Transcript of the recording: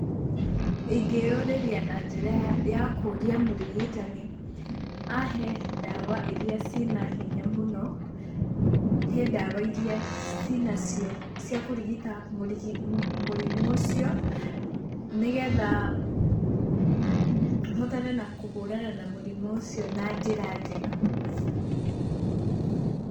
Ingĩyũrĩria na njĩra ya kũria mũrigitani ahe ndawa iria ci na hinya mũno, he ndawa iria cinacio cia kũrigita mũrimũ ũcio nĩgetha hotane na kũhũrana na mũrimũ ũcio na njĩra njega.